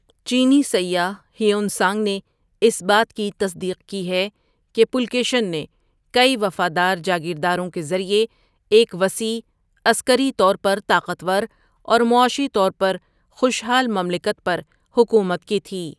چینی سیاح Hiuen Tsang نے اس بات کی تصدیق کی ہے کہ پُلکیشن نے کئی وفادار جاگیرداروں کے ذریعے ایک وسیع، عسکری طور پر طاقتور اور معاشی طور پر خوشحال مملکت پر حکومت کی تھی۔